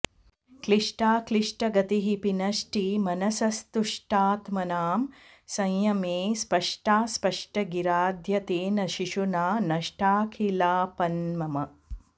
क्लिष्टाक्लिष्टगतीः पिनष्टि मनसस्तुष्टात्मनां संयमे स्पष्टास्पष्टगिराद्य तेन शिशुना नष्टाखिलापन्मम